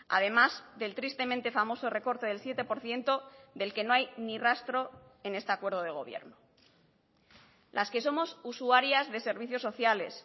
además del tristemente famoso recorte del siete por ciento del que no hay ni rastro en este acuerdo de gobierno las que somos usuarias de servicios sociales